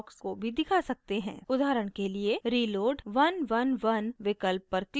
उदाहरण के लिए reload {1 1 1} विकल्प पर click करें